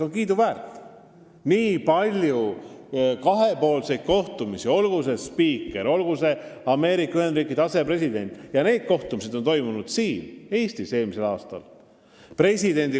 On olnud nii palju kahepoolseid kohtumisi – olgu see spiiker, olgu see Ameerika Ühendriikide asepresident – ja need kohtumised on toimunud siin Eestis eelmisel aastal.